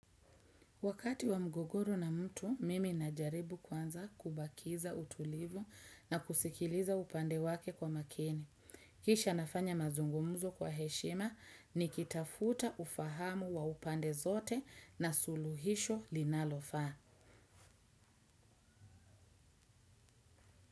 Wakati wa mgogoro na mtu, mimi najaribu kwanza kubakiza utulivu na kusikiliza upande wake kwa makini. Kisha nafanya mazungumzo kwa heshima nikitafuta ufahamu wa upande zote na suluhisho linalofaa.